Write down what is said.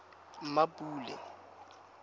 mmapule